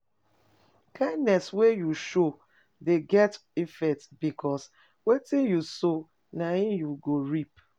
KIndness wey you show de get effects because wetin you sow na him you go reap